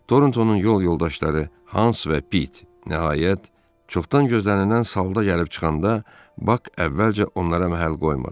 Torntonun yol yoldaşları Hans və Pit nəhayət, çoxdan gözlənilən salda gəlib çıxanda Bak əvvəlcə onlara məhəl qoymadı.